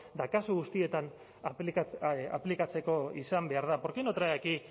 eta kasu guztietan aplikatzeko izan behar da por qué no trae aquí